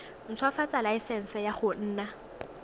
ntshwafatsa laesense ya go nna